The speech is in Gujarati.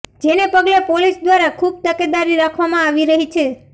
જેને પગલે પોલીસ દ્વારા ખુબ તકેદારી રાખવામાં આવી રહી છે